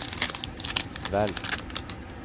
velg